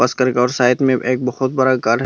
और साइट में एक बहोत बड़ा घर --